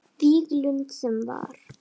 Víglund sem var.